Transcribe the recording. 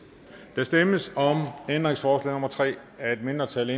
der stemmes om ændringsforslag nummer tre af et mindretal